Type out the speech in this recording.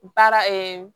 Baara